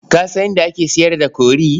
Ka san inda ake sayar da kori?